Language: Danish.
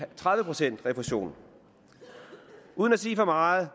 tredive procent refusion uden at sige for meget